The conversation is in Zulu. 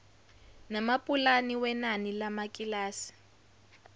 namapulani wenani lamakilasi